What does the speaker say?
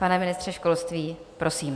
Pane ministře školství, prosím.